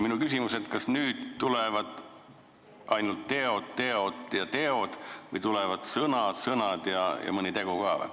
Minu küsimus on: kas nüüd tulevad ainult teod, teod ja teod või tulevad sõnad, sõnad ja mõni tegu ka?